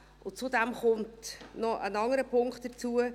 Zudem kommt noch ein anderer Punkt hinzu: